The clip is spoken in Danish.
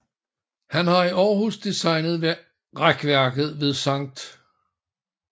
Han har i Århus designet rækværket ved Skt